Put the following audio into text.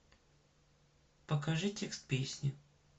покажи текст песни